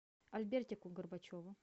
альбертику горбачеву